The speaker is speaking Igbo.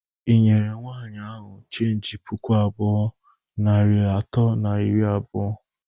Ị nyere nwaanyị ahụ cheenji puku abụọ, narị atọ na iri abụọ?